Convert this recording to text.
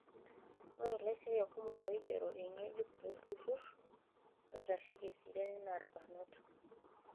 Ore laisiyiak kumok oigeroki eng'ejuk tolturrur oitasheki eseriani naa ilbarnot.